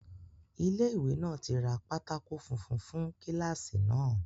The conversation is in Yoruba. Ilé ìwé náà tí ra pátákó funfun fún kíláàsì náà